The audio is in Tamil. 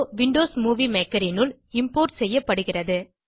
விண்டோஸ் மூவி மேக்கர் னுள் இம்போர்ட் செய்யப்படுகிறது